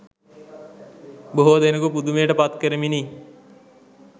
බොහෝ දෙනකු පුදුමයට පත්කරමිනි.